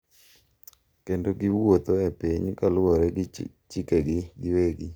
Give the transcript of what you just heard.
Kendo giwuotho ​​e piny kaluwore gi chikegi giwegi.